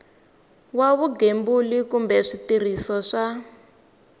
wa vugembuli kumbe switirhiso swa